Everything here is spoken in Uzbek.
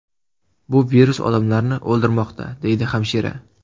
Bu virus odamlarni o‘ldirmoqda”, deydi hamshira.